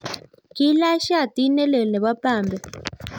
kiilach shati ne lel nebo pambe